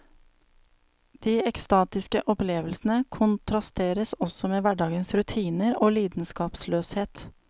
De ekstatiske opplevelsene kontrasteres også med hverdagens rutiner og lidenskapsløshet.